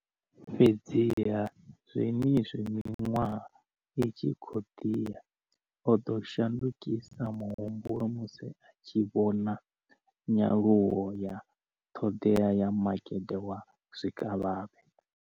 Fhedziha, zwenezwi miṅwaha i tshi khou ḓi ya, o ḓo shandukisa muhumbulo musi a tshi vhona nyaluwo ya ṱhoḓea ya makete wa zwikavhavhe.